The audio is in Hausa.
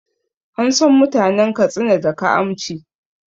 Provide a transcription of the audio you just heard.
An san mutanen Katsina da kaamci